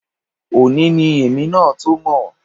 Òní ni èmi náà tó mọ̀